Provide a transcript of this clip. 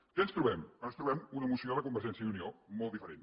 què ens trobem ens trobem una moció de convergència i unió molt diferent